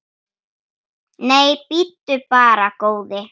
Nei, bíddu bara, góði.